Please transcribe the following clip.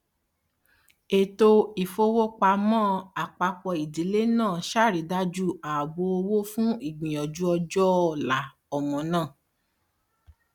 ètò ìfowópamọn àpápọ ìdílé náà sàrídájú àbò owó fún ìgbìyànjú ọjọ ọla ọmọ náà